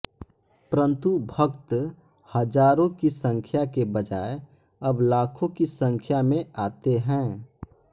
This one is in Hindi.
परंतु भक्त हजारों की संख्या के बजाय अब लाखों की संख्या में आते हैं